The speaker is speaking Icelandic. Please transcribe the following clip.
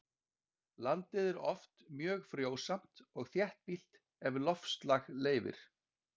landið er oft mjög frjósamt og þéttbýlt ef loftslag leyfir